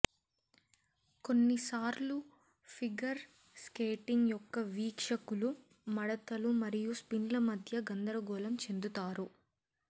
కొన్నిసార్లు figure skating యొక్క వీక్షకులు మడతలు మరియు స్పిన్ల మధ్య గందరగోళం చెందుతారు